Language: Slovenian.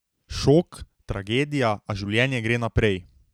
Šok, tragedija, a življenje gre naprej.